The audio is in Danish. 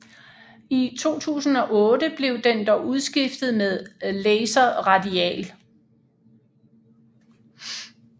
I 2008 blev den dog udskiftet med Laser Radial